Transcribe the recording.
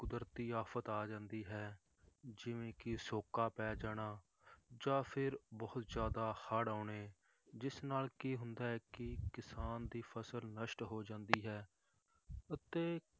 ਕੁਦਰਤੀ ਆਫ਼ਤ ਆ ਜਾਂਦੀ ਹੈ ਜਿਵੇਂ ਕਿ ਸ਼ੋਕਾ ਪੈ ਜਾਣਾ ਜਾਂ ਫਿਰ ਬਹੁਤ ਜ਼ਿਆਦਾ ਹੜ੍ਹ ਆਉਣੇ, ਜਿਸ ਨਾਲ ਕੀ ਹੁੰਦਾ ਹੈ ਕਿ ਕਿਸਾਨ ਦੀ ਫਸਲ ਨਸ਼ਟ ਹੋ ਜਾਂਦੀ ਹੈ ਅਤੇ